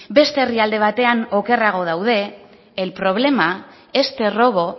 beste herrialde batean okerrago daude el problema este robo